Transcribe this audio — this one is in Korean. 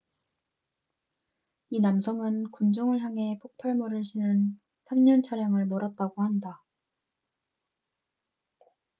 이 남성은 군중을 향해 폭발물을 실은 3륜 차량을 몰았다고 한다